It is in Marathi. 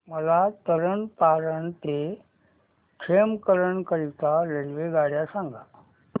मला तरण तारण ते खेमकरन करीता रेल्वेगाड्या सांगा